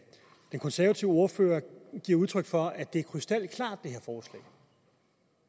det konservative ordfører giver udtryk for at det er krystalklart at